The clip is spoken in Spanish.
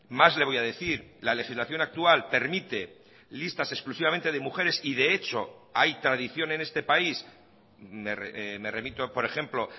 más le voy a decir la legislación actual permite listas exclusivamente de mujeres y de hecho hay tradición en este país me remito por ejemplo